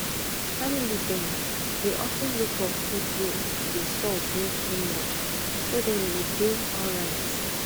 family dem dey of ten look for food wey the salt no too much so dem go dey alright